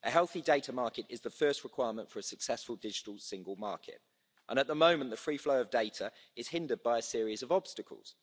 A healthy data market is the first requirement for a successful digital single market. At the moment, the free flow of data is hindered by a series of obstacles.